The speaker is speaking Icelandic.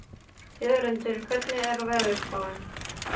Jörundur, hvernig er veðurspáin?